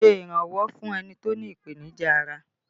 Ṣé iranwọ fún ẹni tó ní ìpènìjà ará!